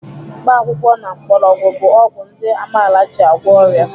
Mkpakwụkwọ na mgbọrọgwụ bụ ọgwụ ndị amaala ji agwọ ọrịa.